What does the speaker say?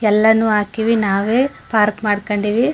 ಎಲ್ಲಾನು ಹಾಕಿವಿ ನಾವೆ ಪಾರ್ಕ್ ಮಾಡಕೊಂಡಿವಿ.